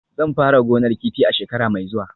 Zan fara gonar kifi a shekara mai zuwa